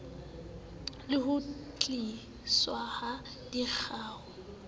le ho tlatswa ha dikgeo